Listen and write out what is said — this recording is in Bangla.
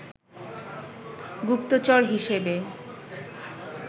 গুপ্তচর হিসেবে